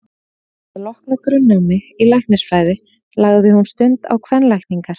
Að loknu grunnnámi í læknisfræði lagði hún stund á kvenlækningar.